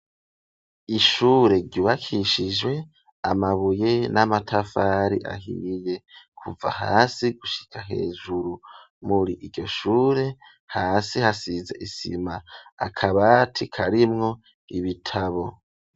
Ishure ryubakishije amabuye n'amatafari ahiye kuva hasi gushika hejuru, muri iryo shure hasi hasize isima akabati karimwo ibitabo.